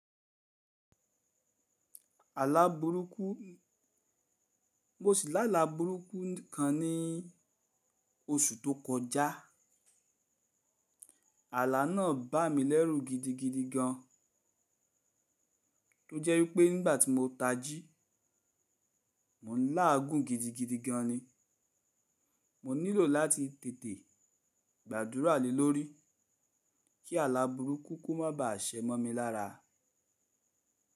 Àlabùrúkú mo sì lálá bùrúkú kan ní oṣù tó kọjá. Ààlà náà bà mí lẹ́rù gidigidi gan, tó jẹ́ wípẹ́ nígbà tí mo tají, mò ń láàgùn gidigidi gan ni. Mo nílò láti tètè gbàdúrà lílórí kí àlabùrúkú kú má bà àṣẹ mọ́ mi lára.